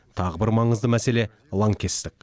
тағы бір маңызды мәселе лаңкестік